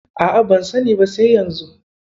A'a, ban sani ba sai yanzu.